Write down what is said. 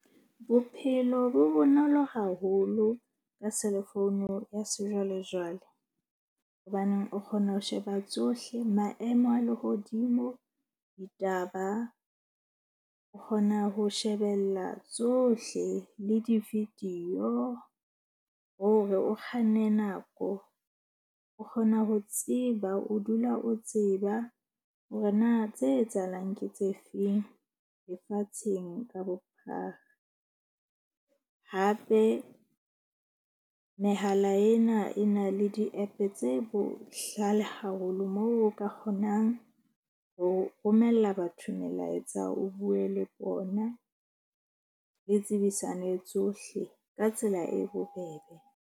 Bophelo bo bonolo haholo ka cell phone ya sejwalejwale. Hobaneng o kgona ho sheba tsohle maemo a lehodimo, ditaba o kgona ho shebella tsohle le di-video. Hore o kganne nako o kgona ho tseba. O dula o tseba hore na tse etsahalang ke tse feng lefatsheng ka bophara. Hape, mehala ena e na le di-app-e tse bohlale haholo moo o ka kgonang ho romella batho melaetsa. O bue le bona le tsebisane tsohle ka tsela e bobebe.